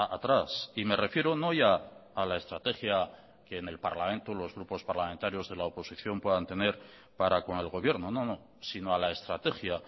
atrás y me refiero no ya a la estrategia que en el parlamento los grupos parlamentarios de la oposición puedan tener para con el gobierno no no sino a la estrategia